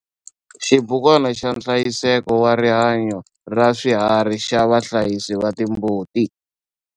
Xibukwana xa nhlayiseko wa rihanyo raswiharhi xa vahlayisi va timbuti.